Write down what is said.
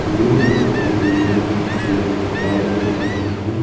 ये फोटो में एक कार दिख रहा है।